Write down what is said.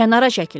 Kənara çəkilin.